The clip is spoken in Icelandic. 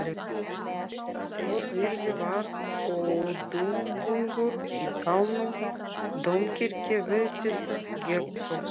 Votviðri var og dumbungur í dalnum, dómkirkjan virtist gegnsósa.